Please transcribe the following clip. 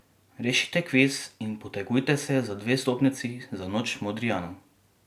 Rešite kviz in potegujte se za dve vstopnici za Noč Modrijanov!